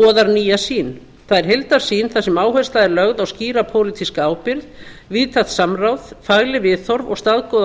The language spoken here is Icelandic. boðar nýja sýn það er heildarsýn þar sem áhersla er lögð á skýra pólitíska ábyrgð víðtækt samráð fagleg viðhorf og staðgóða